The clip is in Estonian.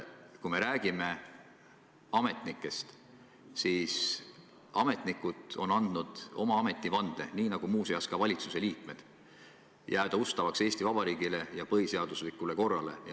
Kui me räägime ametnikest, siis ametnikud on andnud ametivande, nii nagu, muuseas, ka valitsuse liikmed, et nad jäävad ustavaks Eesti Vabariigile ja tema põhiseaduslikule korrale.